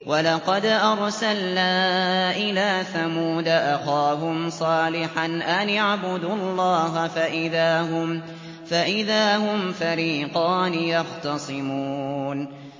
وَلَقَدْ أَرْسَلْنَا إِلَىٰ ثَمُودَ أَخَاهُمْ صَالِحًا أَنِ اعْبُدُوا اللَّهَ فَإِذَا هُمْ فَرِيقَانِ يَخْتَصِمُونَ